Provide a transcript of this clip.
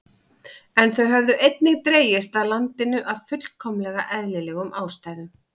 En þau höfðu einnig dregist að landinu af fullkomlega eðlilegum ástæðum.